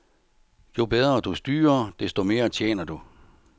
Jo bedre du styrer, desto mere tjener du.